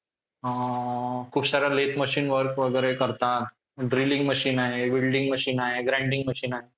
अअ खूप सार machine work वगैरे करता. drilling machine आहे, welding machine आहे, grinding machine आहे.